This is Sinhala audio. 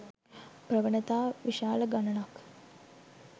ප්‍රවණතා විශාල ගණනක්.